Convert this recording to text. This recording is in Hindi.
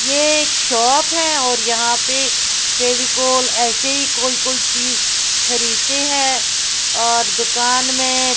ये एक शॉप है और यहाँ पे फेविकोल ऐसे ही कोई कोई चीज़ खरीदते हैं और दुकान में --